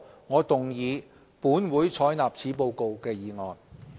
我動議"本會採納此報告"的議案。